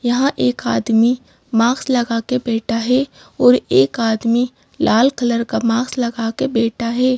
यहां एक आदमी माक्स लगा के बैठा है और एक आदमी लाल कलर का माक्स लगा के बैठा है।